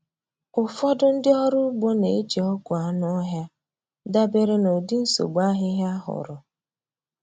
Ụfọdụ ndị ọrụ ugbo na-eji ọgwụ anụ ọhịa dabere na ụdị nsogbu ahịhịa a hụrụ.